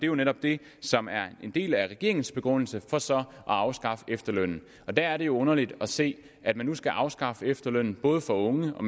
jo netop det som er en del af regeringens begrundelse for så at afskaffe efterlønnen og der er det jo underligt at se at man nu skal afskaffe efterlønnen både for unge og